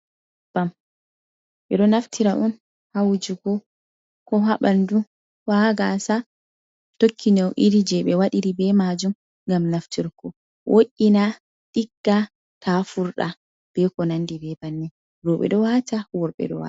Ɓe ɗo naftira on hawugo ko ha ɓanndu, ko ha gaasa ,tokki nyawu iri jey ɓe waɗiri be maajum ,ngam naftirko wo’’ina ɗigga ta furda be ko nanndi be bannin, rowɓe ɗo waata ,worɓe ɗo waata.